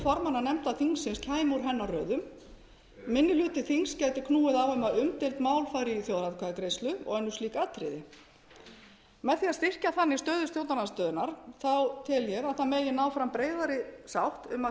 formanna nefnda þingsins kæmi úr hennar röðum minni hluti þings gæti knúið á um að umdeild mál færu í þjóðaratkvæðagreiðslu og önnur slík atriði með því að styrkja þannig stöðu stjórnarandstöðunnar tel ég að það megi ná fram breiðari sátt um að